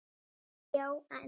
Já en?